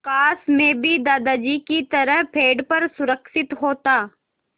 काश मैं भी दादाजी की तरह पेड़ पर सुरक्षित होता